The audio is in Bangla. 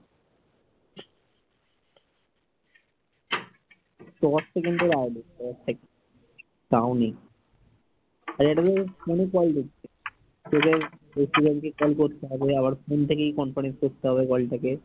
তোদের প্রত্যেক জনকে call করতে হবে আবার phone থেকে conference করতে হবে call টাকে